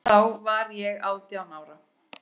Þá var ég átján ára.